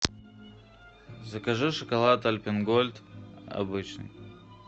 закажи шоколад альпен гольд обычный